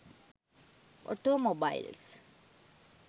automobiles